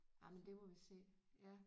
Jamen det må vi se ja